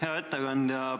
Hea ettekandja!